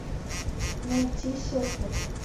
найти серфер